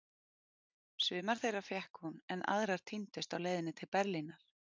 Sumar þeirra fékk hún, en aðrar týndust á leiðinni til Berlínar.